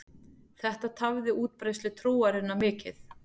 Þetta tafði útbreiðslu trúarinnar mikið.